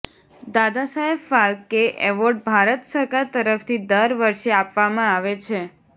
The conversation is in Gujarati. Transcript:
દાદાસાહેબ ફાલ્કે એવોર્ડ ભારત સરકાર તરફથી દર વર્ષે આપવામાં આવે છે